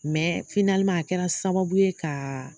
Mɛ a kɛra sababu ye ka